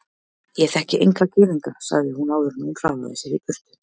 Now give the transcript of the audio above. Ég þekki enga gyðinga sagði hún áður en hún hraðaði sér í burtu.